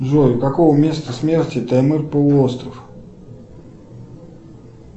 джой какого места смерти таймыр полуостров